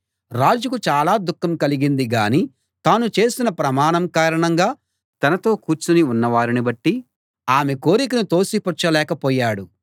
రాజుకు చాలా దుఃఖం కలిగింది గాని తాను చేసిన ప్రమాణం కారణంగా తనతో కూర్చుని ఉన్నవారిని బట్టి ఆమె కోరికను తోసిపుచ్చలేక పోయాడు